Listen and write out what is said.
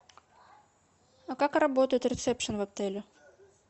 а как работает ресепшн в отеле